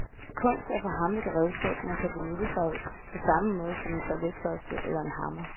Kunst er for ham et redskab, man kan benytte sig af, på samme måde som en toiletbørste eller en hammer.